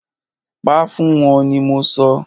Pa fún wọ́n ni mọ sọ!